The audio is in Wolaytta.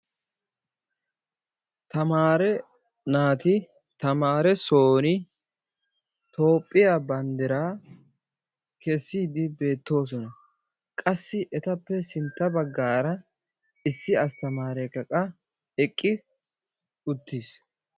Tamare naati tamaare soon Toophphiyaa banddiraa keessidi beettoosona. Qassi etappe sintta baggaara issi atamaarekka qa eqqi uttiis.